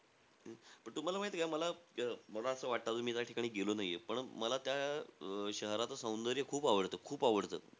तेच, पण तुम्हाला माहितीय का? मला मला असं वाटतं मी त्या ठिकाणी गेलो नाहीये पण मला त्या शहराचं सौंदर्य खूप आवडतं आवडतं.